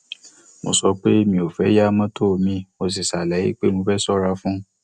mo sọ pé mi ò fé yá mọtò mi mo sì ṣàlàyé pé mo fẹ ṣọra fún un